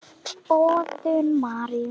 Boðun Maríu.